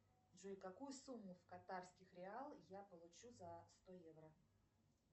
джой какую сумму в катарских реал я получу за сто евро